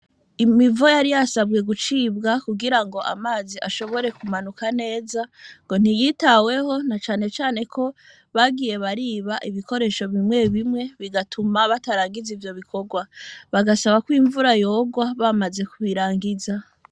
Imivo yari yasabwe gucibwa kugira ngo amazi ashobore kumanuka neza ngo ntiyitaweho na canecane ko bagiye bariba ibikoresho bimwe bimwe bigatuma batarangize ivyo bikorwa bagasaba ko imvura yorwa bamaze kubirangiza.